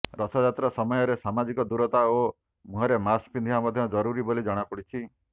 ରଥଯାତ୍ରା ସମୟରେ ସମାଜିକ ଦୂରତା ଓ ମୁହଁରେ ମାସ୍କ ପିନ୍ଧିବା ମଧ୍ୟ ଜରୁରୀ ବୋଲି ଜଣାପଡିଛି